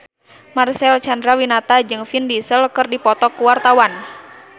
Marcel Chandrawinata jeung Vin Diesel keur dipoto ku wartawan